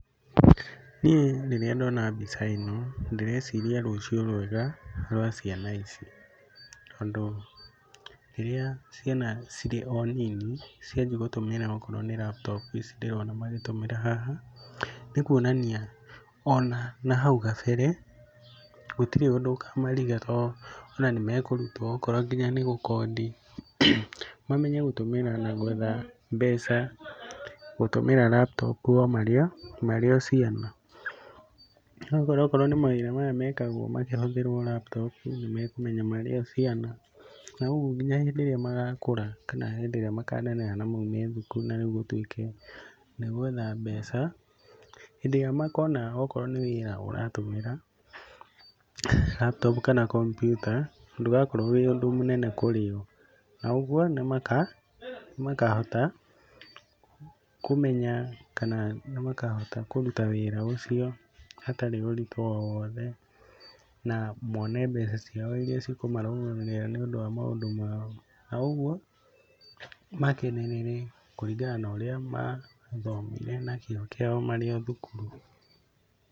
Niĩ rĩrĩa ndona mbica ĩno, ndĩreciria rũciũ rwega rwa ciana ici. Tondũ rĩrĩa ciana cirĩ o nini cianjia gũtũmĩra okorwo nĩ laptop ici ndĩrona magĩtũmĩra haha, nĩ kuonania ona na hau kabere gũtirĩ ũndũ ũkamariga ona nĩ mekũrutwo okorwo nĩ nginya nĩ gũkondi, mamenye gũtũmĩra na gwetha mbeca gutũmĩra laptop o marĩ o ciana. Okorwo nĩ mawĩra maya mekagwo makĩhũthĩrwo laptop, nĩ mekũmenya marĩ o ciana na ũguo nginya hĩndĩ ĩrĩa maga kũra kana hĩndĩ ĩrĩa makaneneha na maume thukuru na rĩu gũtwĩke nĩ gwetha mbeca, hĩndĩ ĩrĩa makona onakorwo nĩ wĩra ũratũmĩra laptop kana kompiuta, ndũgakorwo wĩ ũndũ mũnene kũrĩ o na ũguo nĩ makahota kũmenya kana nĩ makhota kũruta wĩra ũcio hatarĩ ũritũ o wothe na mone mbeca ciao iria cikũmarũgamĩrĩra nĩ ũndũ wa maũndũ mao. Na ũguo makenerere kũringana na urĩa mathomire na kĩo kĩao marĩ o thukuru.